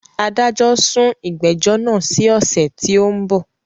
Adájọ́ sún ìgbẹ́jọ́ náà sí ọ̀sẹ̀ tí ó ń bọ̀